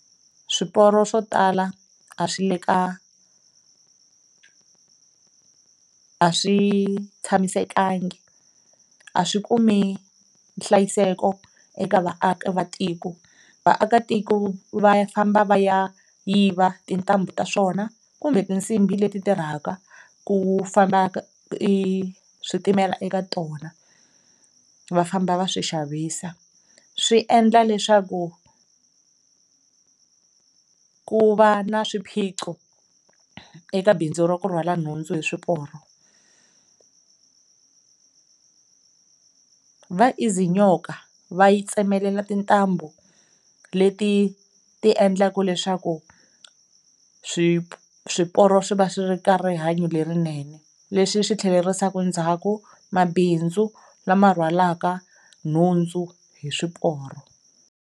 Swiporo swo tala a swi le ka a swi tshamisekanga, a swi kumi nhlayiseko eka vaaki va tiko, vaakatiko va famba va ya yiva tintambu ta swona kumbe tinsimbi leti tirhaka ku famba switimela eka tona va famba va swi xavisiwa. Swi endla leswaku ku va na swiphiqo eka bindzu ra ku rhwala nhundzu hi swiporo. Va ziznyoka va yi tsemelela tintambu leti ti endlaka leswaku swiporo swi va swi ri ka rihanyo lerinene leswi swi tlherisaka ndzhaku mabindzu lama rhwalaka nhundzu hi swiporo.